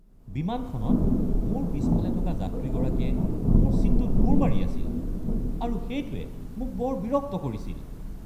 বিমানখনত মোৰ পিছফালে থকা যাত্ৰীগৰাকীয়ে মোৰ ছীটটোত গোৰ মাৰি আছিল আৰু সেইটোৱে মোক বৰ বিৰক্ত কৰিছিল।